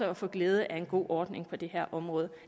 at få glæde af en god ordning på det her område